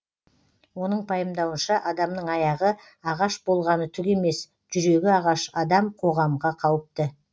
оның пайымдауынша адамның аяғы ағаш болғаны түк емес жүрегі ағаш адам қоғамға қауіпті